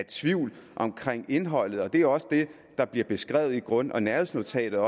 tvivl om indholdet og det er også det der bliver beskrevet i grund og nærhedsnotatet